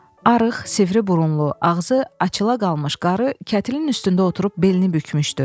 Arıq, sivri burunlu, ağzı açıla qalmış qarı kətilin üstündə oturub belini bükmüşdü.